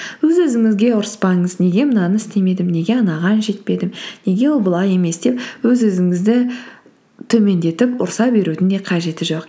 өз өзіңізге ұрыспаңыз неге мынаны істемедім неге анаған жетпедім неге ол былай емес деп өз өзіңізді төмендетіп ұрыса берудің де қажеті жоқ